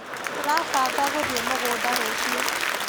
Tũrabanga gũthĩi mũgunda rũciũ.